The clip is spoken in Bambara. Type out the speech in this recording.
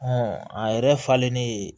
a yɛrɛ falennen